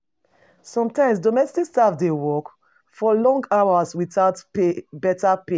Sometimes domestic staff dey work for long hours without better pay